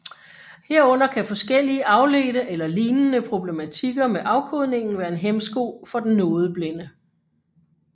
Herunder kan forskellige afledte eller lignende problematikker med afkodningen være en hæmsko for den nodeblinde